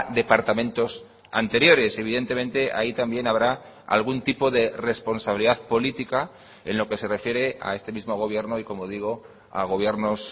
departamentos anteriores evidentemente ahí también habrá algún tipo de responsabilidad política en lo que se refiere a este mismo gobierno y como digo a gobiernos